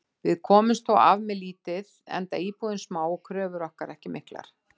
Við komumst þó af með lítið enda íbúðin smá og kröfur okkar ekki miklar.